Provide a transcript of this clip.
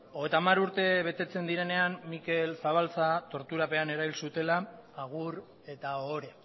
hogeita hamar urte betetzen direnean mikel zabalza torturapean erail zutela agur eta ohore